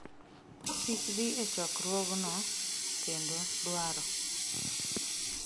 kik dhi e chokruogno kendo dwaro